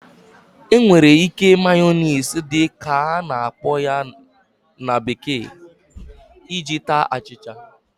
E nwere ike"Mayonnaise" dị ka a na-akpọ ya na bekee iji taa achịcha